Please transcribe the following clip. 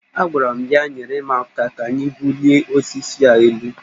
Agwara m ya, nyere m aka ka anyị bulie osisi a elu